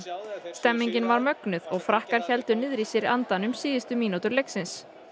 stemningin var mögnuð og Frakkar héldu niður í sér andanum síðustu mínútur leiksins